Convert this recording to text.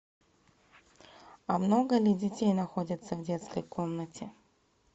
а много ли детей находится в детской комнате